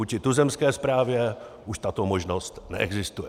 Vůči tuzemské správě už tato možnost neexistuje.